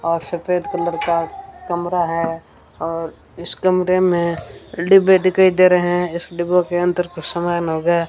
और सफेद कलर का कमरा है और इस कमरे में डिब्बे दिखाई दे रहें है इस डिब्बों के अंदर कुछ समान होगा।